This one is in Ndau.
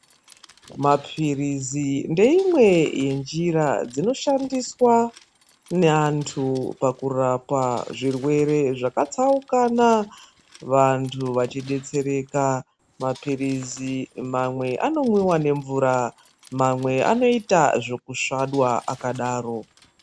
Maphirizi ndeimwe yenjira dzinoshandiswa neantu pakurapa zvirwere zvakatsaukana, vantu vachibetsereka. Maphirizi mamwe anomwiva nemvura mamwe anoitwa zvekusvadwa kakadaro